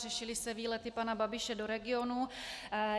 Řešily se výlety pana Babiše do regionů.